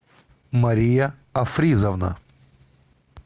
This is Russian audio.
мария афризовна